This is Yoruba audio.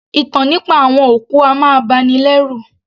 Ìtàn nípa àwọn òkú a máa bani lẹ́rù